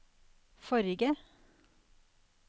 forrige